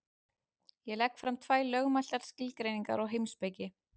Ég legg fram tvær lögmætar skilgreiningar á heimspeki.